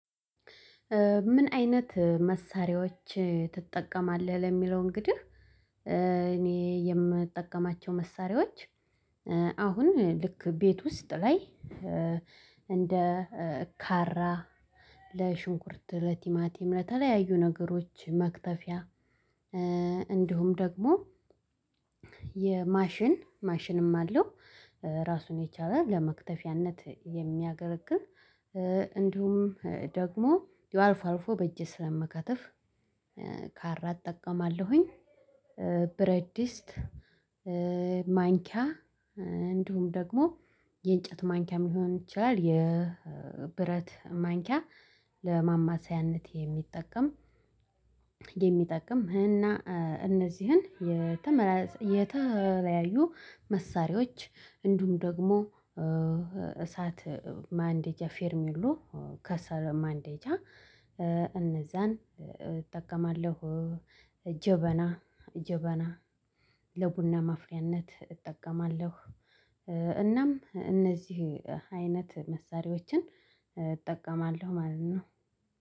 ምን አይነት መሳሪያዎች ትጠቀማለህ? ለሚለው እንግዲህ እኔ የምጠቀማቸው መሳሪያዎች አሁን ልክ ቤት ውስጥ ላይ እንደ ካራ ለሽንኩርት ለቲማቲም ለተለያዩ ነገሮች መክተፊያ። እንዲሁም ደግሞ የማሽን ማሽንም አለው ራሱን የቻለ ለመክተፊያነት የሚያገለግል እንዲሁም ደግሞ ያው አልፎ አልፎ በእጄ ስለምከትፍ ካራ እጠቀማለሁኝ። ብረድስት ማንኪያ እንዲሁም ደግሞ የእንጨት ማንኪያም ሊሆን ይችላል የብረት ማንኪያ ለማማሰያነት የሚጠቀም። የሚጠቅም እና እነዚህን የተመላሰ የተለያዩ መሳሪያዎች እንዲሁም ደግሞ እሳት ማንደጃ ፌርሚሎ ከሰለ ማንደጃ እነዛን እጠቀማለሁ። ጀበና ጀበና ለቡና ማፍያነት እጠቀማለሁ። እናም እነዚህ አይነት መሳሪያዎችን እጠቀማለሁ ማለት ነው።